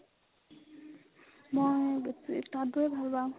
মই তাঁত বোৱে ভাল পাও